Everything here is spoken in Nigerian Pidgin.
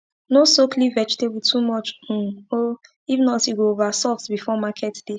no soak leaf vegetable too much um o if not e go over soft before market day